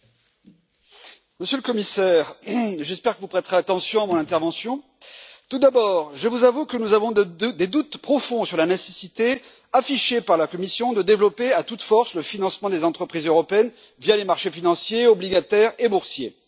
Monsieur le Président, Monsieur le Commissaire, j'espère que vous prêterez attention à mon intervention. Tout d'abord, je vous avoue que nous avons des doutes profonds sur la nécessité affichée par la Commission de développer à toute force le financement des entreprises européennes via les marchés financiers, obligataires et boursiers.